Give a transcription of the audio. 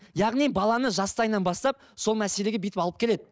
яғни баланы жастайынан бастап сол мәселеге бүйтіп алып келеді